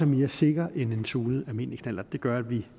mere sikker end en tunet almindelig knallert gør at vi